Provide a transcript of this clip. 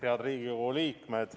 Head Riigikogu liikmed!